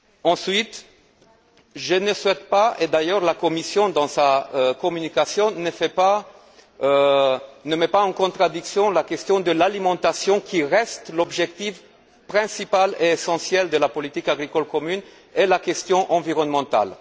Ensuite, je ne souhaite pas et d'ailleurs la Commission, dans sa communication, ne le fait pas mettre en contradiction la question de l'alimentation, qui reste l'objectif principal et essentiel de la politique agricole commune, et la question environnementale.